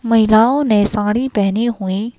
महिलाओं ने साड़ी पहनी हुई--